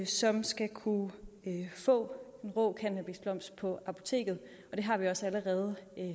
som skal kunne få rå cannabisblomst på apoteket og det har vi også allerede